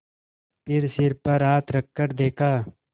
फिर सिर पर हाथ रखकर देखा